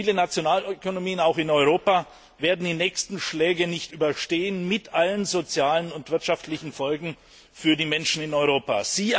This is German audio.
Viele Nationalökonomien, auch in Europa, werden die nächsten Schläge nicht überstehen, mit allen sozialen und wirtschaftlichen Folgen für die Menschen in Europa.